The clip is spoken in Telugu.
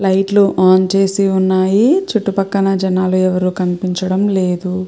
లైట్స్ అని ఆన్ చేసి ఉనది. చుట్టూ పక్కల జనాలు ఎవరు కనిపించడం లేదు.